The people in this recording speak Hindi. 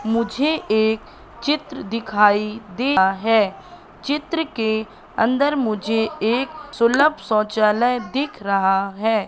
मुझे एक चित्र दिखाई दे रहा है चित्र के अंदर मुझे एक सुलभ शौचालय दिख रहा है।